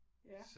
Ja